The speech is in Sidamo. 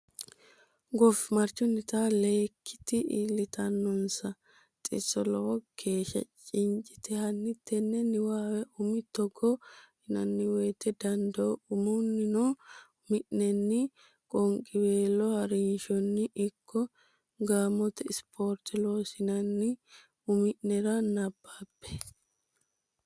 Goofimarchunnitinna leyikkiti iillitaannonsa xisso lowo geeshsha cincate hanni tenne niwaawe umi Togo yinanni woyte dodaano umunnino umi nenni qoonqiweelo ha rinshonni ikko gaamote ispoorte loossaannonna umi nera nabbabbe.